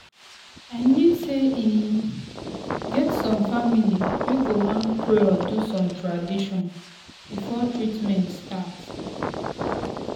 i mean sey e get some family wey go wan pray or do some tradition before treatment start.